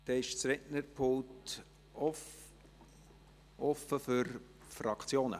Das Rednerpult ist offen für die Fraktionen.